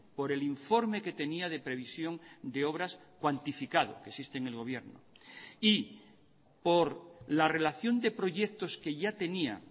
por el informe que tenía de previsión de obras cuantificado que existe en el gobierno y por la relación de proyectos que ya tenía